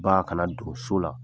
Ba a kana dogo so la